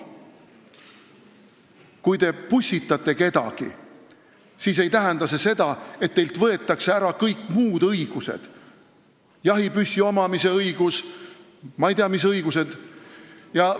Kui te pussitate kedagi, siis ei tähenda see seda, et teilt võetakse ära kõik muud õigused – jahipüssi omamise õigus ja ma ei tea, mis õigused veel.